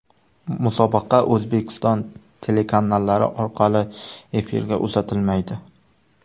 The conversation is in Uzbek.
Musobaqa O‘zbekiston telekanallari orqali efirga uzatilmaydi.